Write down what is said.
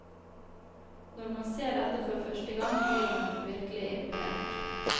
Når man ser dette for første gang blir man virkelig imponert.